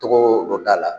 Tɔgɔ dɔ k'a la